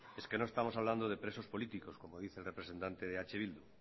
es que no estamos hablandode presos políticos como dice el representante de eh bildu